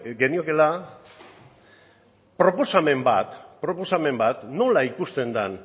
geniokeela proposamen bat proposamen bat nola ikusten den